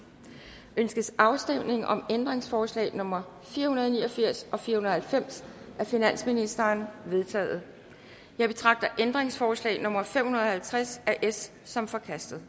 ønskes afstemning om ændringsforslag nummer fire hundrede og ni og firs og fire hundrede og halvfems af finansministeren de er vedtaget jeg betragter ændringsforslag nummer fem hundrede og halvtreds af s som forkastet